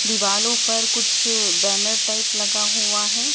दिवालो पर कुछ बैनर टाइप लगा हुआ है।